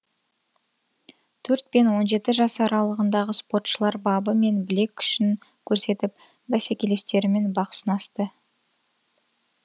төрт пен он жеті жас аралығындағы спортшылар бабы мен білек күшін көрсетіп бәсекелестерімен бақ сынасты